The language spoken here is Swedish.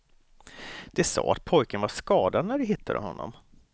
De sa att pojken var skadad när de hittade honom.